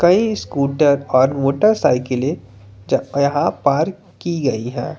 कई स्कूटर और मोटरसाइकिलें यहां पार्क की गई हैं।